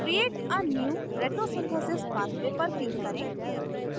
create a new retrosynthesis pathway पर click करें